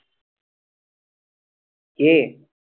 কে?